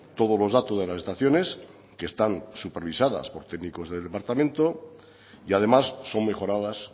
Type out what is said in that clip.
todos los datos de las estaciones que están supervisadas por técnicos del departamento y además son mejoradas